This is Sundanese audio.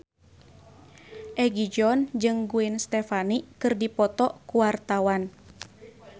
Egi John jeung Gwen Stefani keur dipoto ku wartawan